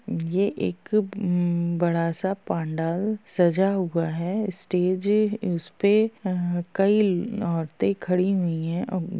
ये एक म बड़ा सा पांडाल सजा हुआ है स्टेज उसपे ह कई औरतें खड़ी हुई हैं अ --